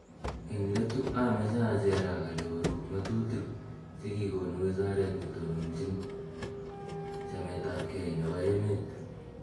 eng' letu ameche acherak ale orub ng'atutik che kikonu wizaret ne tononchini chametabgei nebo emet